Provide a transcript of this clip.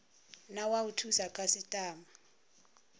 na wa u thusa khasitama